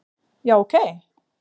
já ok